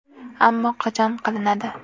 Ammo qachon qilinadi?